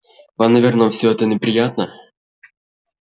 вам наверное всё это неприятно